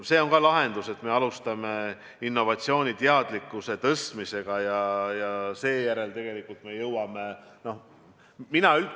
See on ka lahendus, et me alustame innovatsiooni teadlikkuse tõstmisega ja seejärel me jõuame rakendusuuringuteni.